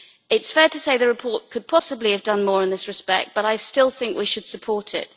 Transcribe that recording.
It is fair to say the report could possibly have done more in this respect, but I still think we should support it.